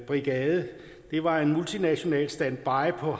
brigade det var en multinational standbybrigade